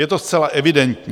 Je to zcela evidentní.